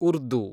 Urdu